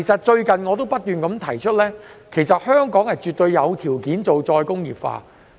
最近我不斷提出，香港絕對有條件推行再工業化。